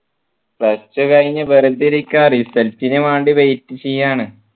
plus two കഴിഞ്ഞു വെറുതെ ഇരിക്കാ result നു വേണ്ടി wait ചെയ്യാണ്